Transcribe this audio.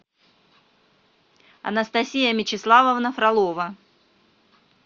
анастасия мечеславовна фролова